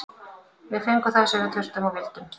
Við fengum það sem við þurftum og vildum.